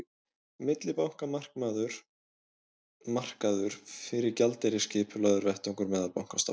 millibankamarkaður fyrir gjaldeyri er skipulagður vettvangur meðal bankastofnana